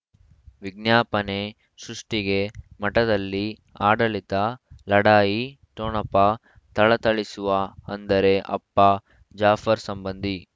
ವಿಜ್ಞಾಪನೆ ಸೃಷ್ಟಿಗೆ ಮಠದಲ್ಲಿ ಆಡಳಿತ ಲಢಾಯಿ ಠೊಣಪ ಥಳಥಳಿಸುವ ಅಂದರೆ ಅಪ್ಪ ಜಾಫರ್ ಸಂಬಂಧಿ